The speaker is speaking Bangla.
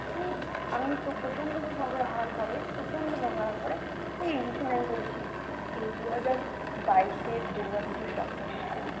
হম আমি তো প্রচন্ড ঝগড়া হওয়ার পরে প্রচন্ড ঝগড়া হওয়ার পরে এই recently আমি বলছি এই দুহাজার বাইশে দুর্গাপূজার সপ্তমীর দিন